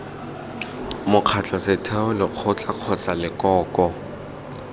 mokgatlho setheo lekgotla kgotsa lekoko